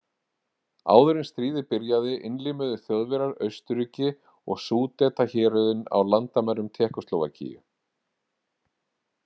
Áður en stríðið byrjaði innlimuðu Þjóðverjar Austurríki og Súdetahéruðin á landamærum Tékkóslóvakíu.